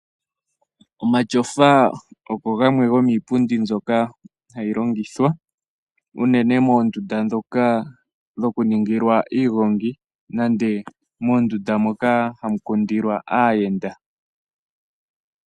Omatyofa ogo gamwe gomiipundi mbyoka hayi longithwa unene moondunda ndhoka dho kuningilwa iigongi nenge moondunda moka hamu kundilwa aayenda.